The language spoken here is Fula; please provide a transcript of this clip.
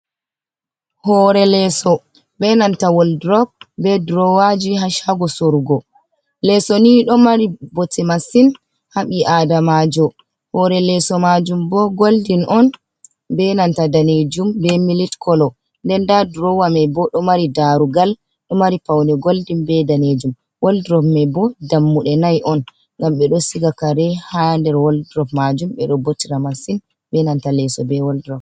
Hore leeso be nanta waldrop be drowaji ha shago sorugo, leeso ni do mari bote masin habi adamajo, hore leso majum bo goldin on be nanta danejum be milit kolo nden da drowamai bo do mari darugal do mari pauni goldin be danejum woldropmai bo dammude nai on gam be do siga kare ha der waldrop majum be do botra masin be nanta leso be waldro.